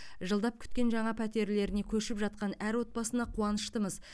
жылдап күткен жаңа пәтерлеріне көшіп жатқан әр отбасына қуаныштымыз